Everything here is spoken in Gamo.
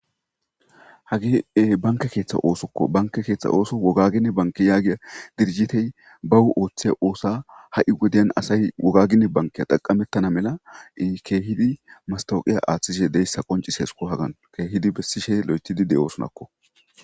hagee banke keeththa oosokko banke keeththa ooso wogagine banki yaagiya dirhitey bawu ooththey oosa ha7i wodyan asay wogagine bankeya daqamettana mela ii keehidi mastawuqiya aaththishe deyssa qoncis hesuko hagan keehidi bessishe lo7etidi de7oosunakko